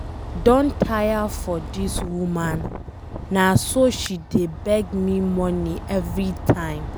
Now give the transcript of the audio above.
I don tire for dis woman. Na so she dey beg me money everytime.